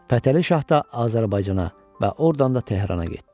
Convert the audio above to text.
Fətəli Şah da Azərbaycana və ordan da Tehrana getdi.